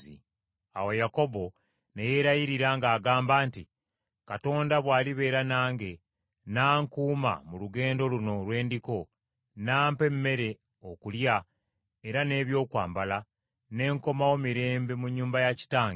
Awo Yakobo ne yeerayirira ng’agamba nti, “Katonda bw’alibeera nange, n’ankuuma mu lugendo luno lwe ndiko, n’ampa emmere okulya era n’ebyokwambala ne nkomawo mirembe mu nnyumba ya kitange,